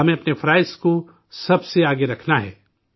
ہمیں، اپنے فرائض کو سب سے آگے رکھنا ہے